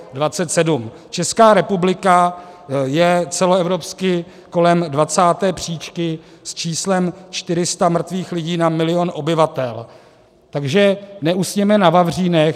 Česká republika je celoevropsky kolem 20. příčky s číslem 400 mrtvých lidí na milion obyvatel, takže neusněme na vavřínech.